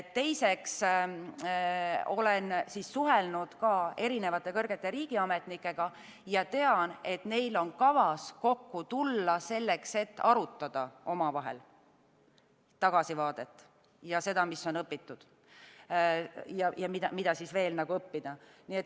Teiseks, ma olen suhelnud ka erinevate kõrgete riigiametnikega ja tean, et neil on kavas kokku tulla, selleks et arutada omavahel tagasivaadet ja seda, mis on õpitud ja mida on veel õppida.